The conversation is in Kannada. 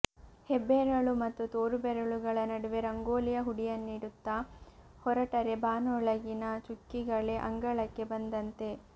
ಹೆಬ್ಬೆರಳು ಮತ್ತು ತೋರು ಬೆರಳುಗಳ ನಡುವೆ ರಂಗೋಲಿಯ ಹುಡಿಯನ್ನಿಡುತ್ತ ಹೊರಟರೆ ಬಾನೊಳಗಿನ ಚುಕ್ಕಿಗಳೇ ಅಂಗಳಕ್ಕೆ ಬಂದಂತೆ